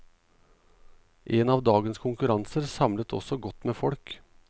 En av dagens konkurranser samlet også godt med folk.